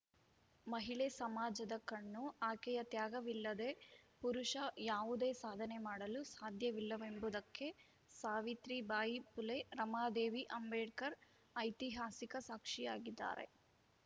ಮಹಿಳೆ ಸಮಾಜದ ಕಣ್ಣು ಆಕೆಯ ತ್ಯಾಗವಿಲ್ಲದೇ ಪುರುಷ ಯಾವುದೇ ಸಾಧನೆ ಮಾಡಲು ಸಾಧ್ಯವಿಲ್ಲವೆಂಬುದಕ್ಕೆ ಸಾವಿತ್ರಿಬಾಯಿ ಫುಲೆ ರಮಾದೇವಿ ಅಂಬೇಡ್ಕರ್‌ ಐತಿಹಾಸಿಕ ಸಾಕ್ಷಿಯಾಗಿದ್ದಾರೆ